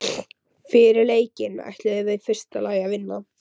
Fyrir leikinn ætluðum við í fyrsta lagi að vinna.